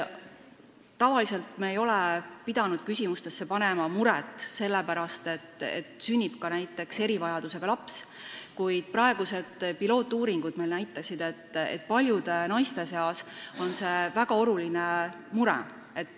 Tavaliselt ei ole me pidanud küsima selle mure kohta, mis saab siis, kui sünnib näiteks erivajadusega laps, kuid esmased uuringud näitasid, et paljudele naistele on see väga oluline mure.